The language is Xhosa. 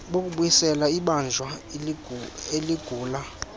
bokubuyisela ibanjwa eligula